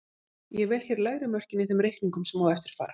Ég vel hér lægri mörkin í þeim reikningum sem á eftir fara.